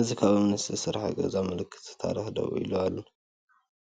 እዚ ካብ እምኒ ዝተሰርሐ ገዛ ከም ምልክት ታሪኽ ደው ኢሉ፡